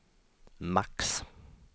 max